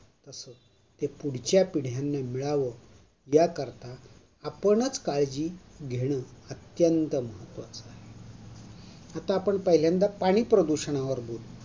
ते पुढच्या पिढ्यांना मिळावं, आपणच काळजी घेणं अत्यंत महत्त्वाचा आहे. आता पण पहिल्यांदा पाणी प्रदूषणावरती बोलू.